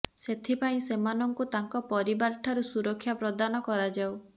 ସେଥିପାଇଁ ସେମାନଙ୍କୁ ତାଙ୍କ ପରିବାର ଠାରୁ ସୁରକ୍ଷା ପ୍ରଦାନ କରାଯାଉ